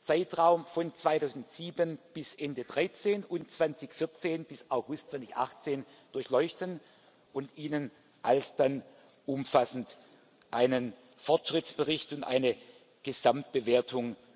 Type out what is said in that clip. Zeitraum von 2007 bis Ende 2013 und von 2014 bis August 2018 durchleuchten und Ihnen alsdann umfassend einen Fortschrittsbericht und eine Gesamtbewertung